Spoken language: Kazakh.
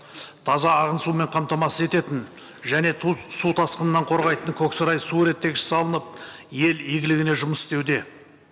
таза ағын сумен қамтамасыз ететін және су тасқынынан қорғайтын көксарай су реттегіші салынып ел игілігіне жұмыс істеуде